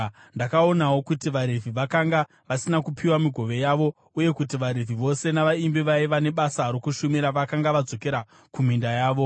Ndakaonawo kuti vaRevhi vakanga vasina kupiwa migove yavo, uye kuti vaRevhi vose navaimbi vaiva nebasa rokushumira vakanga vadzokera kuminda yavo.